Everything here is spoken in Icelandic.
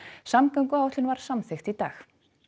samgönguáætlun var samþykkt í dag